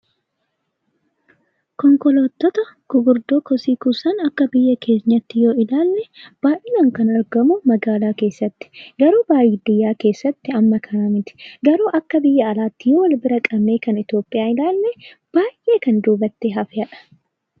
Konkolaattota gurguddoo kosii kuusan akka biyya keenyaatti yoo ilaalle, baay'inaan kan argamu naannoo magaalaa keessatti. Garuu baadiyyaa keessatti hamma kana miti. Garuu akka biyya alaatti yoo wal bira qabnee kan Itoophiyaa ilaalle, baay'ee kan duubatti hafedha!